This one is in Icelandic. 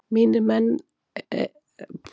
Mínir leikmenn eru með ótrúlegt hugarfar